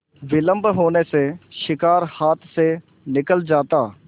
विलम्ब होने से शिकार हाथ से निकल जाता